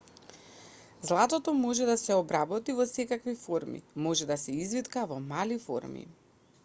златото може да се обработи во секакви форми може да се извитка во мали форми